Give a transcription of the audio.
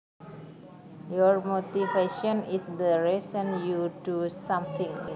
Your motivation is the reason you do something